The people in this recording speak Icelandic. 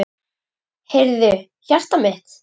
Heyrðu, hjartað mitt.